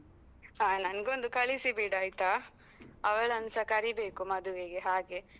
ಹ ನಂಗೊಂದು ಕಳಿಸಿ ಬಿಡಾಯ್ತಾ? ಅವಳನ್ಸಾ ಕರಿಬೇಕು ಮದುವೆಗೆ ಹಾಗೆ.